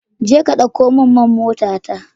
Je ka dauko min man motata.